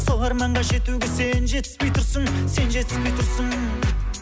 сол арманға жетуге сен жетіспей тұрсың сен жетіспей тұрсың